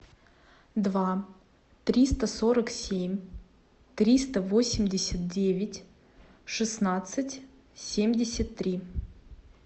два триста сорок семь триста восемьдесят девять шестнадцать семьдесят три